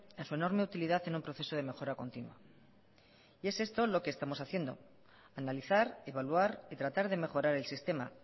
en su enorme utilidad en un proceso de mejora continua y es esto lo que estamos haciendo analizar evaluar y tratar de mejorar el sistema